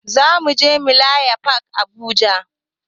Zamuje mileniyam fak a habuja